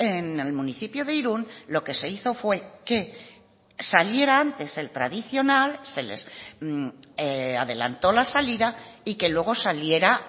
en el municipio de irún lo que se hizo fue que saliera antes el tradicional se les adelantó la salida y que luego saliera